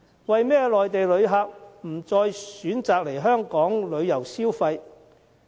為甚麼內地旅客不再選擇來港旅遊消費？